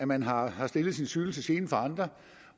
man har har stillet sin cykel til gene for andre